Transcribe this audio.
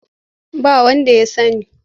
Ba wanda ya sani.